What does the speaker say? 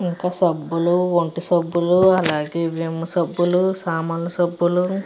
ఇక్కడ సబ్బులు అలాగే ఒంటి సబ్బులు అలాగే విమ్ సబ్బులు సామాన్ల సబ్బులు --